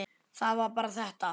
Það var bara þetta.